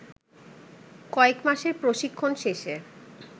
কয়েক মাসের প্রশিক্ষণ শেষে